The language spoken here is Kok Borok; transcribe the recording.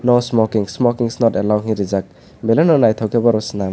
no smoking smoking is not allow hinui rijak belai no naitok ke borok selam.